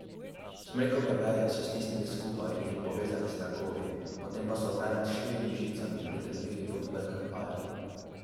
Smrekove veje so stisnili skupaj in jih povezali s trakovi, potem pa so venec s štirimi žicami pritrdili pod vrh mlaja.